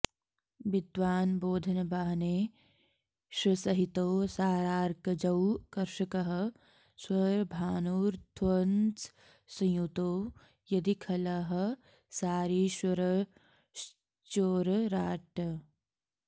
विद्वान् बोधनवाहनेशसहितौ सारार्कजौ कर्षकः स्वर्भानुध्वजसंयुतौ यदि खलः सारीश्ररश्चोरराट्